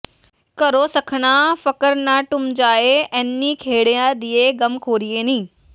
ਘਰੋਂ ਸੱਖਣਾ ਫਕਰ ਨਾ ਡੂਮ ਜਾਇ ਅਨੀ ਖੇੜਿਆਂ ਦੀਏ ਗਮਖ਼ੋਰੀਏ ਨੀ